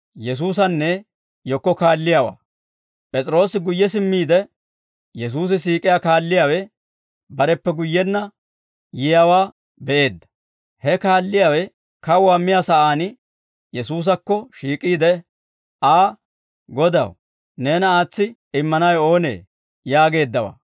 P'es'iroose guyye simmiide, Yesuusi siik'iyaa kaalliyaawe bareppe guyyenna yiyaawaa be'eedda; he kaalliyaawe kawuwaa miyaa sa'aan Yesuusakko shiik'iide Aa, «Godaw, neena aatsi immanawe oonee?» yaageeddawaa.